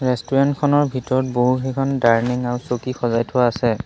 Restaurant খনৰ ভিতৰত বহু কেইখন ডাইনিং আৰু চকী সজাই থোৱা আছে।